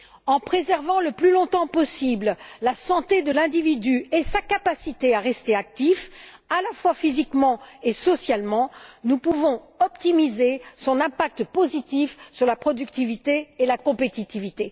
En préservant le plus longtemps possible la santé de l'individu et sa capacité à rester actif, à la fois physiquement et socialement, nous pouvons optimiser son impact positif sur la productivité et la compétitivité.